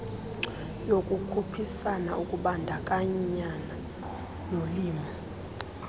yokukhuphisana ukubandakanya nolimo